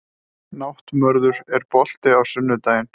Náttmörður, er bolti á sunnudaginn?